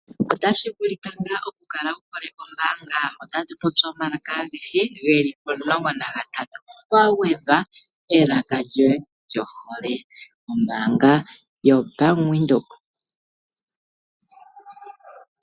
Otashi vulika ngaa okukala wu hole kombaanga? Otatu popi omalaka agehe ge li omulongo nagatatu kwa gwedhwa elaka lyoye lyohole. Ombaanga yoBank Windhoek!